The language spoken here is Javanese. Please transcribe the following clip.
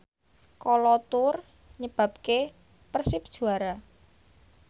Kolo Toure nyebabke Persib juara